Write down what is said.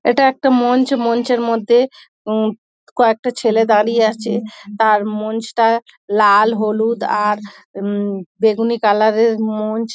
এটা একটা মঞ্চ মঞ্চের মধ্যে উম কয়েকটা ছেলে দাঁড়িয়ে আছে। আর মঞ্চটা লাল হলুদ আর উম বেগুনি কালারের মঞ্চ।